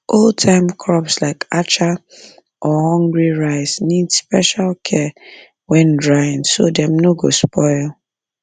oldtime crops like acha or hungry rice or hungry rice need special care when drying so dem no go spoil